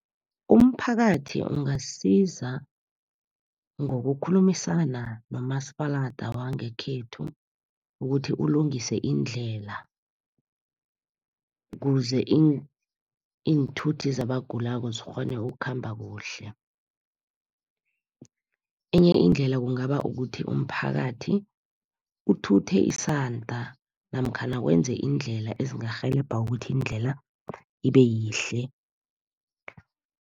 Umphakathi ungasiza ngokukhulumisana nomasepalada wangekhethu, ukuthi ulungise indlela. Ukuze iinthuthi zabagulako zikghone ukhamba kuhle. Enye indlela kungaba kukuthi, umphakathi uthuthe isanda namkhana wenze indlela ezingarhelebha ukuthi indlela ibe yihle.